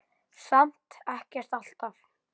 Samt ekkert alltaf.